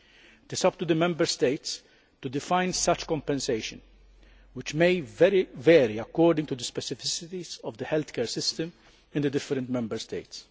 It is up to the Member States to define such compensation, which may vary according to the specificities of the healthcare systems in the different Member States.